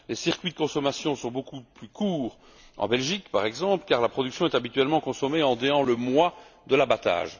Les circuits de consommation sont beaucoup plus courts en Belgique, par exemple, car la production est habituellement consommée dans le mois de l'abattage.